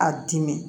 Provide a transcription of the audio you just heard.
A dimi